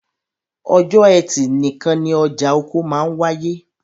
Ọjọ́ ẹtì nìkan ni ọjà oko máa wááyé